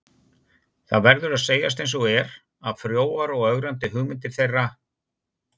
Það verður að segjast einsog er, að frjóar og ögrandi hugmyndir þeirra